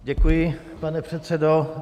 Děkuji, pane předsedo.